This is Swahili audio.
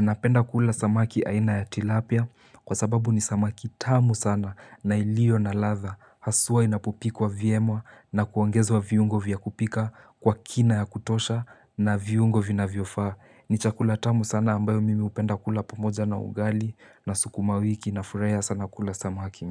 Napenda kula samaki aina ya tilapia kwa sababu ni samaki tamu sana na ilio na ladha Haswa inapopikwa vyemwa na kuongezwa viungo vya kupika kwa kina ya kutosha na viungo vina vyofaa ni chakula tamu sana ambayo mimi upenda kula pomoja na ugali na sukuma wiki nafurahia sana kula samakimi.